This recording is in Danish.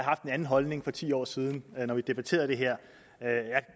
haft en anden holdning for ti år siden da vi debatterede det her jeg